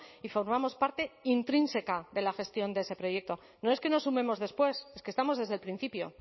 y formamos parte intrínseca de la gestión de ese proyecto no es que nos sumemos después es que estamos desde el principio